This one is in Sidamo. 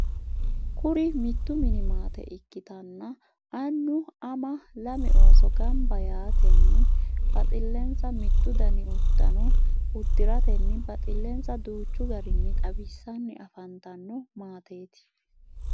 kuri mittu mini maate ikkitanna annu, ama, lame ooso gamba yaatenni baxxilensa mittu dani udano udiratenni baxxilensa danchu garinni xawisanni affantanno maateti.